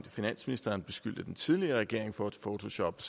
finansministeren beskyldte den tidligere regering for at photoshoppe